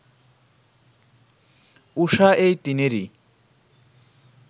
ঊষা এই তিনেরই